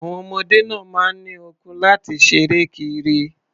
Àwon ọmọdé náà máa ń ní okun láti ṣeré kiri.